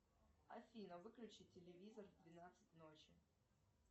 афина выключи телевизор в двенадцать ночи